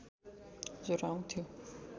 ज्वरो आउँथ्यो